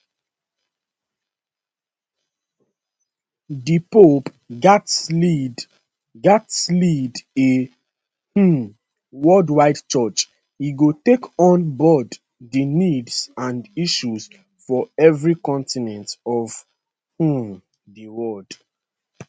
di pope gatz lead gatz lead a um worldwide church e go take on board di needs and issues for evri continent of um di world